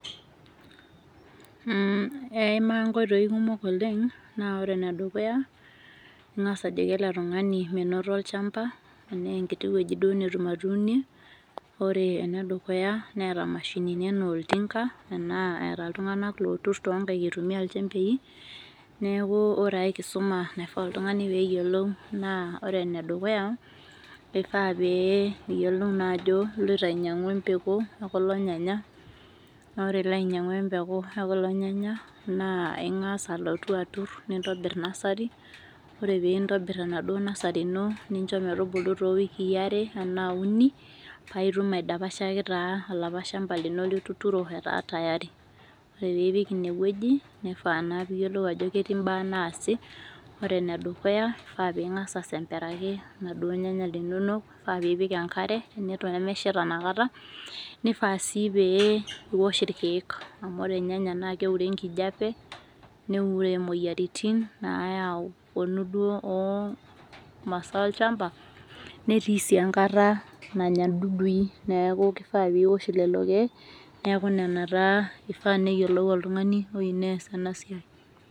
Eeima inkoitoi kumok oleng naa ore enedukuya ang'as ajoki ele tung'ani ore enedukuya neeeta imashinini enaa oltinka enaa eeta iltung'anak lootur toonkae enaa inchembei ashua enkae kisuma nayieu neeta oltung'ani naa ore ene duka keifaa pee iyiolou ajo keleoito ainyiang'u empeku ekulo. nyanya naa ore ilo ainyiang'u empeku ekulo nyanya naa ang'as alotu atur nintobir nasari ore peeintobir enaduo nasari ino nintobir toowikii are ashua uni paitum aidapashaki taa olapa shamba lino lituuno etaa tayari ore peeipik ine wueji keifaa naa peiyiolou ajo ketii imbaaa naasi ore enedukuya naa peing'as aisemperaki iladuo nyanya linonok ore peipik enkare neton mesheta inakata neifaa sii pee iwosh irkiek amu ore irnyanya naa keure enkijiape neure imoyiaritin nayau duo imasa olchamba netii sii enkata nanya indudui neeku keifaa neaku niwosh lelo. kiek neeku nena taa eifaa neyiolou oltung'ani oyieu neyas ena siai.